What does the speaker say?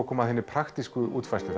kom að hinni praktísku útfærslu